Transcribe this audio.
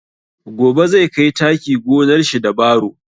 Gobe zai kai taki gonar shi da baro